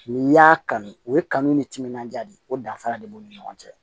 N'i y'a kanu u ye kanu ni timinandiya de ye o danfara de b'u ni ɲɔgɔn cɛ